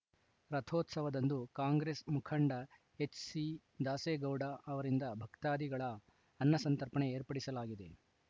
ರಥೋತ್ಸವದಂದು ಕಾಂಗ್ರೆಸ್‌ ಮುಖಂಡ ಎಚ್‌ಸಿ ದಾಸೇಗೌಡ ಅವರಿಂದ ಭಕ್ತಾದಿಗಳ ಅನ್ನಸಂತರ್ಪಣೆ ಏರ್ಪಡಿಸಲಾಗಿದೆ